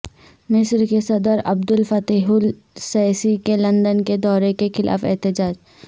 مصر کے صدر عبدل فتح السیسی کے لندن کے دورے کے خلاف احتجاج